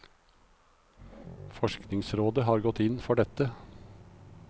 Forskningsrådet har gått inn for dette.